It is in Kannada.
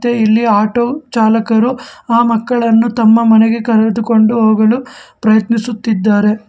ಹಾಗೆ ಇಲ್ಲಿ ಆಟೋ ಚಾಲಕರು ಆ ಮಕ್ಕಳನ್ನು ತಮ್ಮ ನನಗೆ ಕರೆದುಕೊಂಡು ಹೋಗಲು ಪ್ರಯತ್ನಿಸುತ್ತಿದ್ದಾರೆ.